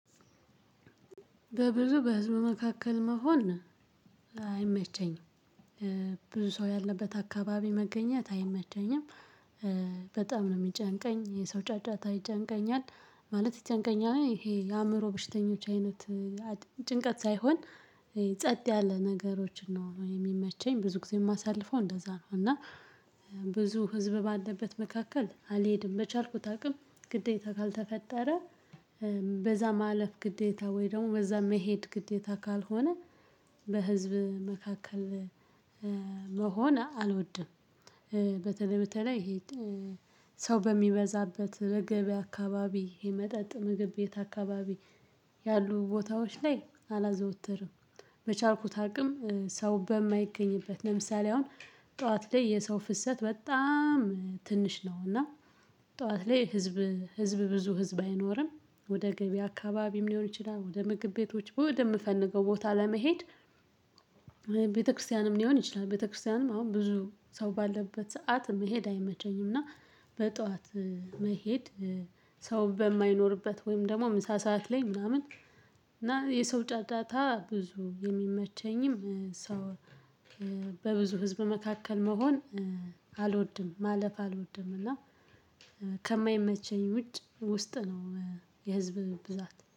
በብዙ በህዝብ መካከል መሆን አይመቸኝም። ብዙ ሰው ያለበት አካባቢ መገኘት አይመቸኝም። በጣም ነው የሚጨንቀኝ የሰው ጫጫታ ይጨንቀኛል። ማለት ይጨንቀኛል ይሄ የአእምሮ ብሽተኞች አይነት። ጭንቀት ሳይሆን ጸጥ ያለ ነገሮች ነው የሚመቸኝ። ብዙ ጊዜ የማሳልፈው እንደዛ ነው። እና ብዙ ህዝብ ባለበት መካከል አልሄድም በቻልኩት አቅም ግዴታ ካልተፈጠረ። በዛ ማለፍ ግዴታ ወይ ደግሞ በዛ መሄድ ግዴታ ካልሆነ በህዝብ መካከል መሆን አልወድም። በተለይ በተለይ ሄድ ሰው በሚበዛበት ለገበያ አካባቢ የመጠጥ ምግብ ቤት አካባቢ ያሉ ቦታዎች ላይ አላዘወተርም። በቻልኩት አቅም ሰው በማይገኝበት ለምሳሌ አሁን ጠዋት ላይ የሰው ፍሰት በጣም ትንሽ ነው። እና ጠዋት ላይ ህዝብ ህዝብ ብዙ ህዝብ አይኖርም። ወደ ገበያ አካባቢም ሊሆን ይችላል ወደ ምግብ ቤቶች ወደ ምፈንገው ቦታ ለመሄድ። ቤተክርስቲያንም ሊሆን ይችላል ቤተክርስቲያንም አሁን ብዙ ሰው ባለበት ሰዓት መሄድ አይመቸኝም። እና በጧት መሄድ ሰው በማይኖርበት ወይም ደግሞ ምሳ ሰዓት ላይ ምናምን። እና የሰው ጫጫታ ብዙ የሚመቸኝም ሰው በብዙ ህዝብ መካከል መሆን አልወድም ማለፍ አልወድም። እና ከማይመቸኝ ውጭ ውስጥ ነው የህዝብ ብዛት